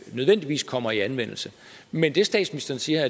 nødvendigvis kommer i anvendelse men det statsministeren siger